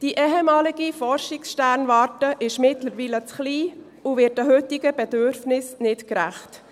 Die ehemalige Forschungssternwarte ist mittlerweile zu klein und wird den heutigen Bedürfnissen nicht gerecht.